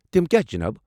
تم کیٛاہ چھ جناب؟